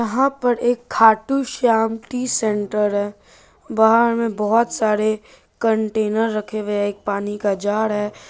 यहाँ पर एक खाटू श्याम टी सेंटर है बाहर मे बहोत सारे कंटेनर रखे हुए है एक पानी का जार है।